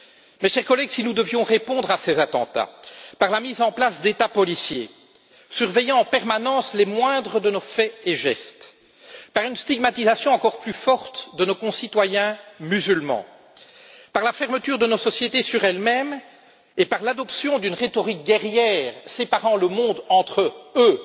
Mes chers collègues, si nous devions répondre à ces attentats par la mise en place d'États policiers, surveillant en permanence les moindres de nos faits et gestes, par une stigmatisation encore plus forte de nos concitoyens musulmans, par la fermeture de notre société sur elle même et par l'adoption d'une rhétorique guerrière séparant le monde entre eux